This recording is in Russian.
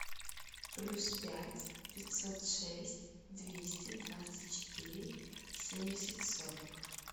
плюс пять пятьсот шесть двести двадцать четыре семьдесят сорок